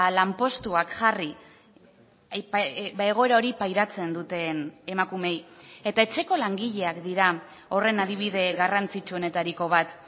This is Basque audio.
lanpostuak jarri egoera hori pairatzen duten emakumeei eta etxeko langileak dira horren adibide garrantzitsuenetariko bat